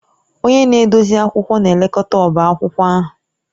Onye na-edozi akwụkwọ na-elekọta ọbá akwụkwọ ahụ